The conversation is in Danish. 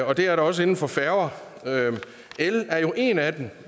og det er der også inden for færger el er jo en af dem